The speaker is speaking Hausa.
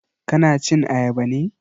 Ka na cin ayaba ne?